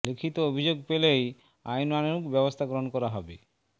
লিখিত অভিযোগ পেলেই আইনানুগ ব্যবস্থা গ্রহণ করা হবে বলে